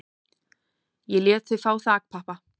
Ég lét þá fá þakpappa